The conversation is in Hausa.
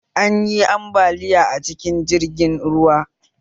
Anyi ambaliya a cikin jirgin ruwa